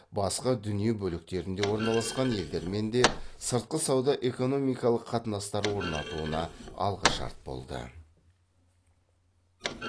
басқа дүние бөліктерінде орналасқан елдермен де сыртқы сауда экономикалық қатынастар орнатуына алғышарт болды